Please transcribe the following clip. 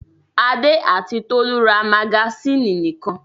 Adé àti Tolú rs magasínì nìkan.